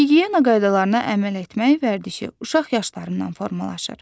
Gigiyena qaydalarına əməl etmək vərdişi uşaq yaşlarından formalaşır.